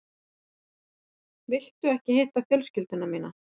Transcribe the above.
Viltu ekki hitta fjölskyldu mína?